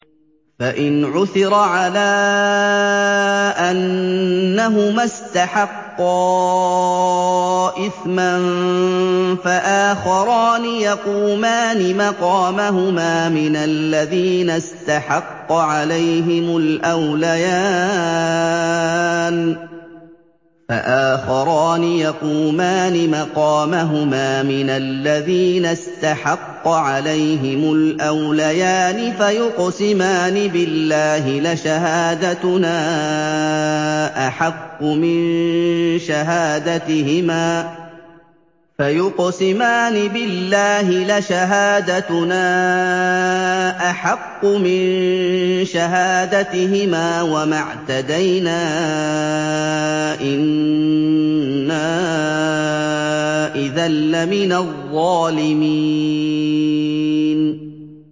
فَإِنْ عُثِرَ عَلَىٰ أَنَّهُمَا اسْتَحَقَّا إِثْمًا فَآخَرَانِ يَقُومَانِ مَقَامَهُمَا مِنَ الَّذِينَ اسْتَحَقَّ عَلَيْهِمُ الْأَوْلَيَانِ فَيُقْسِمَانِ بِاللَّهِ لَشَهَادَتُنَا أَحَقُّ مِن شَهَادَتِهِمَا وَمَا اعْتَدَيْنَا إِنَّا إِذًا لَّمِنَ الظَّالِمِينَ